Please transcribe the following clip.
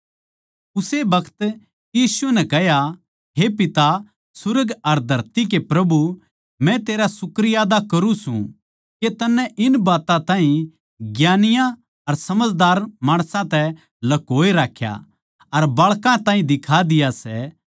उस्से बखत यीशु नै कह्या हे पिता सुर्ग अर धरती के प्रभु मै तेरा शुक्रियादा करूँ सूं के तन्नै इन बात्तां ताहीं ज्ञानियाँ अर समझदारां माणसां तै ल्कोए राख्या अर बाळकां ताहीं दिखा दिया सै